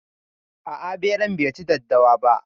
A'a, beran bai ci daddawa ba.